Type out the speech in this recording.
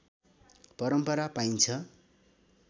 परम्परा पाइन्छ